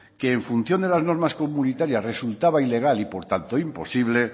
que en función de las normas comunitarias resultaba ilegal y por tanto imposible